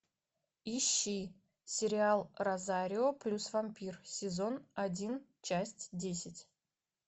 ищи сериал розарио плюс вампир сезон один часть десять